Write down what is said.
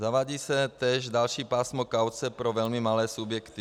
Zavádí se též další pásmo kauce pro velmi malé subjekty.